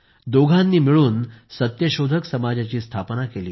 दोघांनी मिळून सत्यशोधक समाजाची स्थापना केली